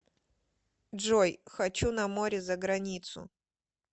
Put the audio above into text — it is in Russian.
джой хочу на море заграницу